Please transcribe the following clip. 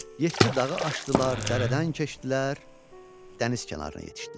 yeddi dağı aşdılar, dərədən keçdilər, dəniz kənarına yetişdilər.